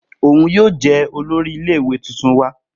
Oun yoo jẹ olori ile-iwe tuntun wa